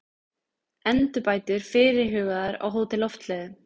Endurbætur fyrirhugaðar á Hótel Loftleiðum